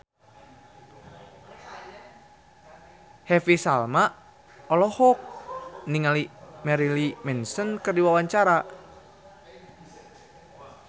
Happy Salma olohok ningali Marilyn Manson keur diwawancara